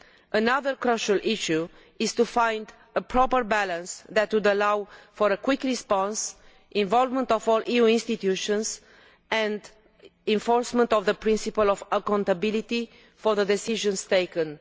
Another crucial issue is to find a proper balance that would allow for a quick response, involvement of all EU institutions, and enforcement of the principle of accountability for the decisions taken.